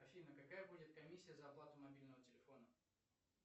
афина какая будет комиссия за оплату мобильного телефона